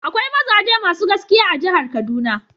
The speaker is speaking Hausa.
Akwai mazaje masu gaskiya a jihar kaduna.